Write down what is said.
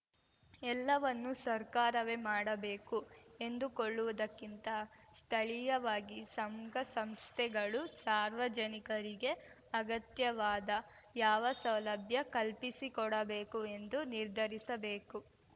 ಎಲ್ಲವನ್ನೂ ಸರ್ಕಾರವೇ ಮಾಡಬೇಕು ಎಂದುಕೊಳ್ಳುವುದಕ್ಕಿಂತ ಸ್ಥಳೀಯವಾಗಿ ಸಂಘ ಸಂಸ್ಥೆಗಳು ಸಾರ್ವಜನಿಕರಿಗೆ ಅಗತ್ಯವಾದ ಯಾವ ಸೌಲಭ್ಯ ಕಲ್ಪಿಸಿ ಕೊಡಬೇಕು ಎಂದು ನಿರ್ಧರಿಸಬೇಕು